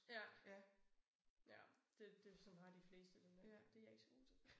Ja ja det det sådan har de fleste det nok. Det jeg ikke så god til